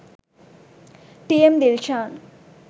t.m. dilshan